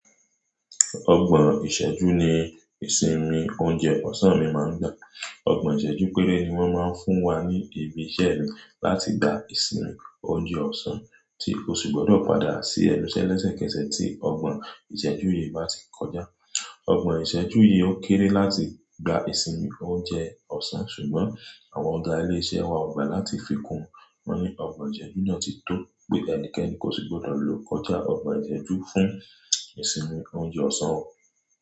Ọgbọ̀n ìṣẹ́jú ni ìsinmi oúnjẹ ọ̀sán mi máa ń gba. Ọgbọ̀n ìṣẹ́jú péré ni wọ́n máa ń fún wa ní ibi iṣẹ́ mi láti gba ìsinmi oúnjẹ ọ̀sán, tí ó sì gbọdọ̀ padà sí ẹnu ṣẹ́ lẹ́sẹ̀kẹsẹ̀ tí ọgbọ̀n ìṣẹ́jú yìí bá ti kọjá. Ọgbọ̀n ìṣẹ́jú yìí ó kéré láti gba ìsinmi oúnjẹ ọ̀sán, ṣùgbọ́n àwọn ọ̀ga ilé iṣẹ́ wa ò gbà láti fi kún wọn ní ọgbọ̀n ìṣẹ́jú náà ti tó pé ẹnikẹ́ni kò sì gbọdọ̀ lo kọjá ọgbọ̀n ìṣẹ́jú fún ìsinmi oúnjẹ ọ̀sán wọn.